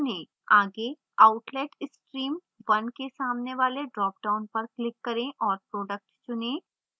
आगे outlet stream 1 के सामने वाले dropdown पर click करें और product चुनें